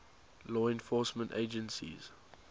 law enforcement agencies